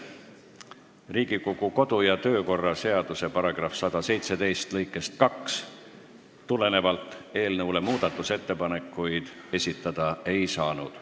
Riigikogu kodu- ja töökorra seaduse § 117 lõikest 2 tulenevalt eelnõu kohta muudatusettepanekuid esitada ei saanud.